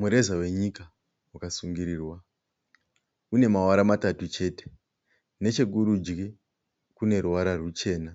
Mureza wenyika wakasungirirwa. Une mavara matatu chete, nechekurudyi kune ruvara ruchena